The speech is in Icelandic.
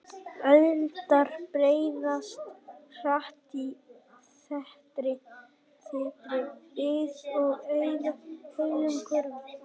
Eldar breiðast hratt út í þéttri byggð og eyða heilum hverfum.